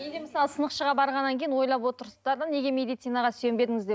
мен де мысалы сынықшыға барғаннан кейін ойлап отырсыздар да неге медицинаға сүйенбедіңіз деп